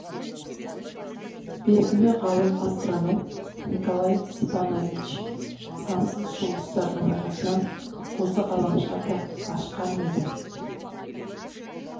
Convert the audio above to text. белгілі ғалым-астроном николай степанович сансыз жұлдыздардың арасынан осы ғаламшарды ашқан еді